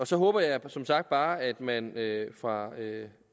så håber jeg som sagt bare at man fra